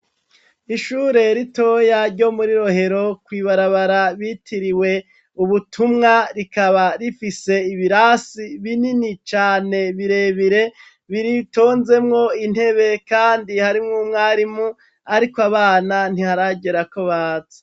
Ishure ritoya ryo muri rohero kwibarabara bitiriwe ubutumwa rikaba rifise ibirasi binini cane birebire biritonzemwo intebe kandi harimw 'umwarimu arik' abana ntiharagera ko baza.